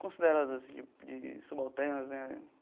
consideradas de de subalternas né.